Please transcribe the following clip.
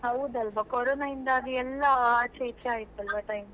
ಹೌದಲ್ವಾ ಕೊರೋನಾ ಇಂದಾಗಿ ಎಲ್ಲಾ ಆಚೆ ಈಚೆ ಆಯ್ತು ಅಲ್ಲ time .